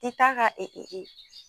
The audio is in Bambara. I t'a ka e e